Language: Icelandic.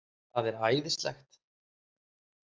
Það er æðislegt.